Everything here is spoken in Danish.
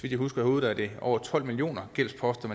jeg husker i hovedet er det over tolv millioner gældsposter